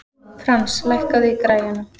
Frans, lækkaðu í græjunum.